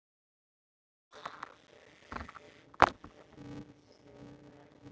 Ferðina skyggi á.